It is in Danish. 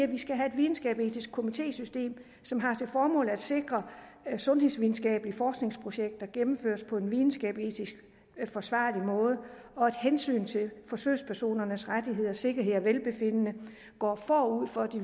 vi skal have et videnskabsetisk komitésystem som har til formål at sikre at sundhedsvidenskabelige forskningsprojekter gennemføres på en videnskabsetisk forsvarlig måde og at hensynet til forsøgspersonernes rettigheder sikkerhed og velbefindende går forud for de